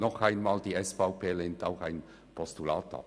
Die SVP lehnt auch ein Postulat ab.